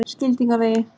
Skildingavegi